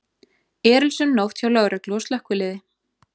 Erilsöm nótt hjá lögreglu og slökkviliði